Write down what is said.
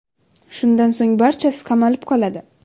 Shundan so‘ng barchasi qamalib qoladi.